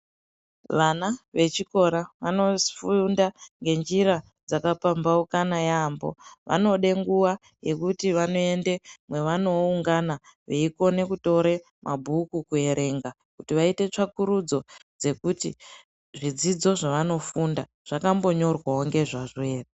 Vana vechikora vanofunda ngenjira dzakapamhaukana yaamho. Vanode nguwa yekuti vanoende mwevanooungana veikone kutore mabhuku kuerenga kuti vaite tsvakurudzo dzekuti zvidzidzo zvavanofunda zvakambonyorwawo ngezvazvo ere.